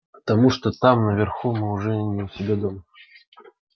потому что там наверху мы уже не у себя дома